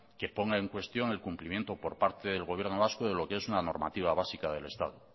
que ponga en cuestión el cumplimiento por parte del gobierno vasco de lo que es una normativa básica del estado